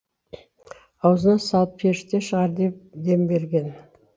аузына салып періште шығар дем берген